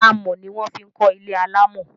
Amọ̀ ní wọ́n fi kọ ilé alámọ̀